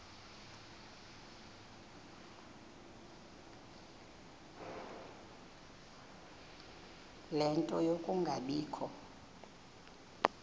ie nto yokungabikho